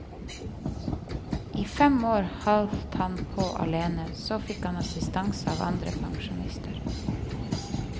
I fem år holdt han på alene, så fikk han assistanse av andre pensjonister.